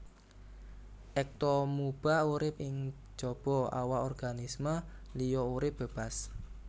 Ektoamuba urip ing jaba awak organisme liya urip bébas